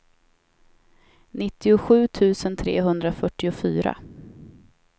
nittiosju tusen trehundrafyrtiofyra